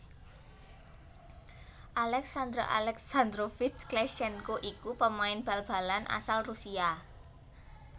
Aleksandr Aleksandrovich Kleshchenko iku pamain bal balan asal Rusia